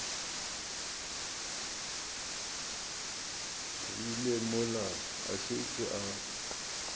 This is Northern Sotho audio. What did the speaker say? rile mola a šetše a